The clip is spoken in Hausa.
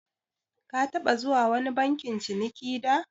Ka taɓa zuwa wani bankin ciniki da?